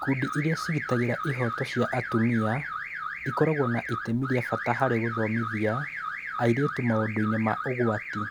Ikundi iria ciĩgitagĩra ihooto cia atumia ikoragwo na itemi rĩa bata harĩ gũthomithia airĩtu maũndũ-inĩ ma ũgwati